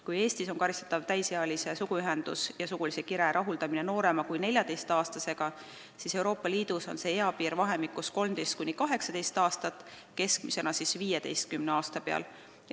Kui Eestis on karistatav täisealise suguühe, sugulise kire rahuldamine noorema kui 14-aastasega, siis Euroopa Liidus on see piir vahemikus 13–18 aastat, keskmisena 15 aasta peal.